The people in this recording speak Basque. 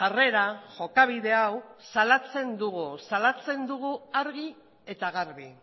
jarrera jokabide hau salatzen dugu salatzen dugu argi eta garbi